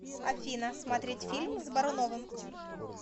афина смотреть фильм с боруновым